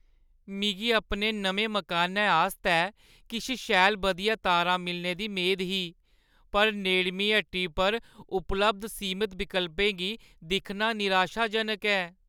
मिगी अपने नमें मकानै आस्तै किश शैल बधिया तारां मिलने दी मेद ही, पर नेड़मीं हट्टी पर उपलब्ध सीमत विकल्पें गी दिक्खना निराशाजनक ऐ।